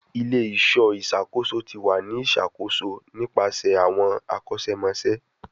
Ile-iṣọ iṣakoso ti wa ni iṣakoso nipasẹ awọn akosemose